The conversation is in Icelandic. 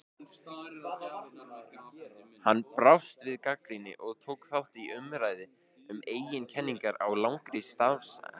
Hann brást við gagnrýni og tók þátt í umræðu um eigin kenningar á langri starfsævi.